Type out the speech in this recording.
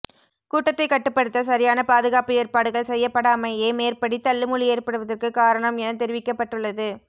கூட்டத்தை கட்டுப்படுத்த சரியான பாதுகாப்பு ஏற்பாடுகள் செய்யப்படாமையே மேற்படி தள்ளுமுள்ளு ஏற்படுவதற்கு காரணம் என தெரிவிக்கப்பட்டுள்ளது